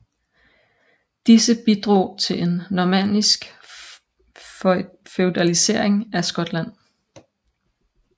Disse bidrog til en normannisk feudalisering af Skotland